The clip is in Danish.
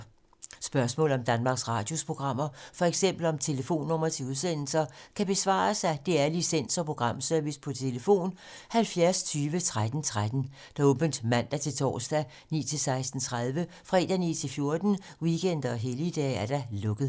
Spørgsmål om Danmarks Radios programmer, f.eks. om telefonnumre til udsendelser, kan besvares af DR Licens- og Programservice: tlf. 70 20 13 13, åbent mandag-torsdag 9.00-16.30, fredag 9.00-14.00, weekender og helligdage: lukket.